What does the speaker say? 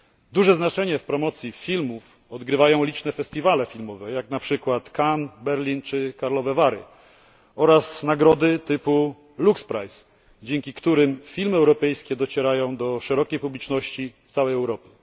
Duże znaczenie w promocji filmów odgrywają liczne festiwale filmowe, jak na przykład Cannes, Berlin czy Karlove Vary, oraz nagrody filmowe typu Lux Prize, dzięki którym filmy europejskie docierają do szerokiej publiczności w całej Europie.